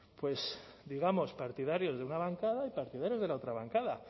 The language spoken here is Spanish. partidarios de una bancada y partidarios de la otra bancada